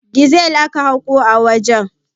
Dizel aka haƙo a wajen.